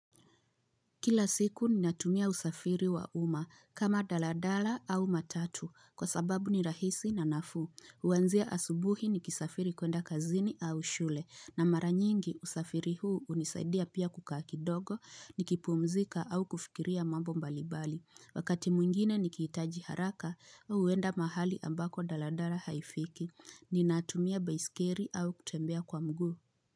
Kila siku ninatumia usafiri wa umma kama daladala au matatu kwa sababu ni rahisi na nafuu. Huanzia asubuhi nikisafiri kuenda kazini au shule na mara nyingi usafiri huu hunisaidia pia kukaa kidogo nikipumzika au kufikiria mambo mbalimbali. Wakati mwingine nikihitaji haraka au kuenda mahali ambako daladala haifiki. Ninatumia baiskeli au kutembea kwa mguu.